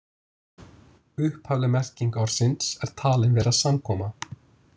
Upphafleg merking orðsin er talin vera samkoma.